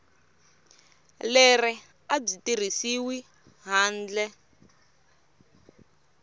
leri a byi tirhisiwi handle